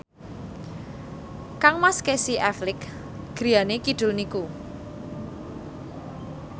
kangmas Casey Affleck griyane kidul niku